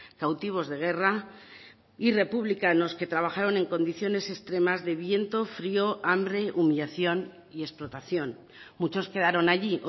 cautivos de guerra y republicanos que trabajaron en condiciones extremas de viento frío hambre humillación y explotación muchos quedaron allí